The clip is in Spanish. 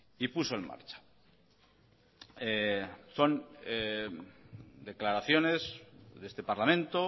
y puso en marcha son declaraciones de este parlamento